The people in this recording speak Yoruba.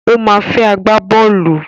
Ó ma fẹ́ agbábọ́ọ̀lù.